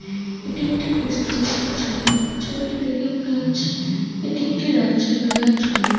এটি একটি রেস্টুরেন্টের -এর ছবি ছবিটি দেখে মনে হচ্ছে এটিএকটি রাএি বেলার ছবি ।